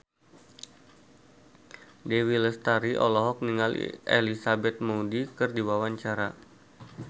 Dewi Lestari olohok ningali Elizabeth Moody keur diwawancara